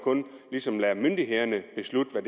ligesom kun lader myndighederne beslutte hvad